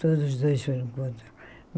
Todos os dois foram contra.